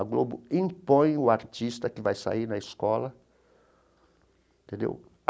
A Globo impõe o artista que vai sair na escola entendeu.